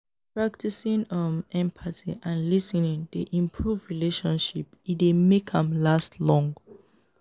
practicing um empathy and lis ten ing dey improve relationship e dey make am last long.